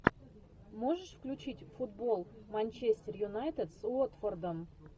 можешь включить футбол манчестер юнайтед с уотфордом